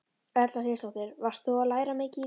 Erla Hlynsdóttir: Varst þú að læra mikið í dag?